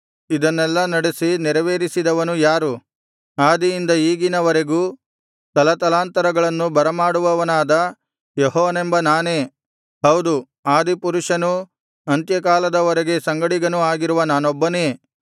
ಇದನ್ನೆಲ್ಲಾ ನಡೆಸಿ ನೆರವೇರಿಸಿದವನು ಯಾರು ಆದಿಯಿಂದ ಈಗಿನವರೆಗೂ ತಲತಲಾಂತರಗಳನ್ನು ಬರಮಾಡುವವನಾದ ಯೆಹೋವನೆಂಬ ನಾನೇ ಹೌದು ಆದಿಪುರುಷನೂ ಅಂತ್ಯಕಾಲದವರ ಸಂಗಡಿಗನೂ ಆಗಿರುವ ನಾನೊಬ್ಬನೇ